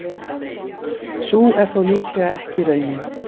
Sú er þó líklega ekki raunin.